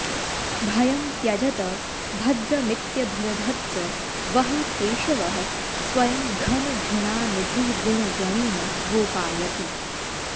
भयं त्यजत भद्रमित्यभिदधत्स वः केशवः स्वयं घनघृणानिधिर्गुणगणेन गोपायति